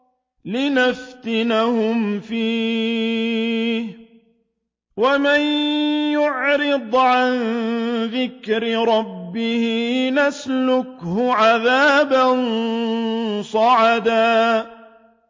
لِّنَفْتِنَهُمْ فِيهِ ۚ وَمَن يُعْرِضْ عَن ذِكْرِ رَبِّهِ يَسْلُكْهُ عَذَابًا صَعَدًا